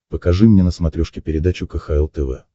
покажи мне на смотрешке передачу кхл тв